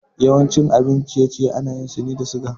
Yawancin abin ciye-ciye ana yin sune da suga